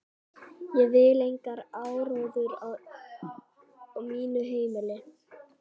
Ég vil engan áróður á mínu heimili.